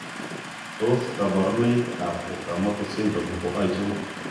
Tos kaborunoik ab okamoto syndrome ko achon?